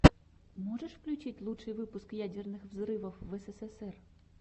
можешь включить лучший выпуск ядерных взрывов в эсэсэсэр